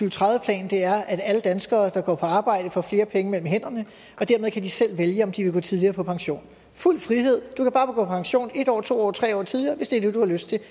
og tredive plan er at alle danskere der går på arbejde får flere penge mellem hænderne og dermed kan de selv vælge om de vil gå tidligere på pension fuld frihed du kan bare gå på pension en år to år tre år tidligere hvis det er det du lyst til det